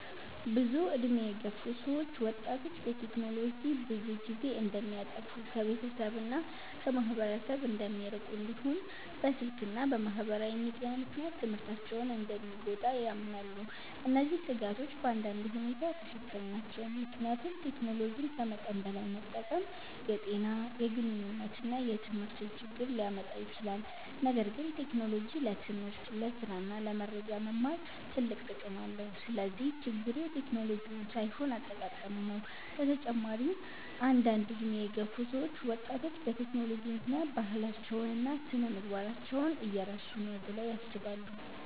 ብዙ ዕድሜ የገፉ ሰዎች ወጣቶች በቴክኖሎጂ ብዙ ጊዜ እንደሚያጠፉ፣ ከቤተሰብ እና ከማህበረሰብ እንደሚርቁ፣ እንዲሁም በስልክ እና በማህበራዊ ሚዲያ ምክንያት ትምህርታቸው እንደሚጎዳ ያምናሉ። እነዚህ ስጋቶች በአንዳንድ ሁኔታ ትክክል ናቸው፣ ምክንያቱም ቴክኖሎጂን ከመጠን በላይ መጠቀም የጤና፣ የግንኙነት እና የትምህርት ችግር ሊያመጣ ይችላል። ነገር ግን ቴክኖሎጂ ለትምህርት፣ ለስራ እና ለመረጃ መማር ትልቅ ጥቅም አለው። ስለዚህ ችግሩ ቴክኖሎጂው ሳይሆን አጠቃቀሙ ነው። በተጨማሪም አንዳንድ ዕድሜ የገፉ ሰዎች ወጣቶች በቴክኖሎጂ ምክንያት ባህላቸውን እና ስነ-ምግባራቸውን እየረሱ ነው ብለው ያስባሉ።